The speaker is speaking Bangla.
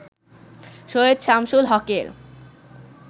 সৈয়দ শামসুল হক-এর